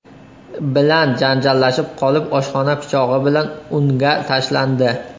bilan janjallashib qolib, oshxona pichog‘i bilan unga tashlandi.